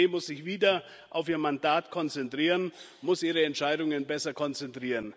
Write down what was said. Die EZB muss sich wieder auf ihr Mandat konzentrieren, muss ihre Entscheidungen besser kommunizieren.